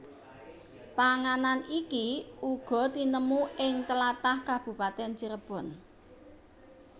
Panganan iki uga tinemu ing tlatah Kabupatèn Cirebon